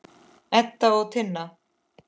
Edda og Tinna.